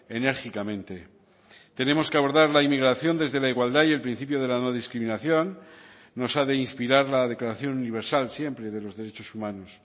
enérgicamente tenemos que abordar la inmigración desde la igualdad y el principio de la no discriminación nos ha de inspirar la declaración universal siempre de los derechos humanos